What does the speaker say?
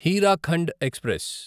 Hirakhand express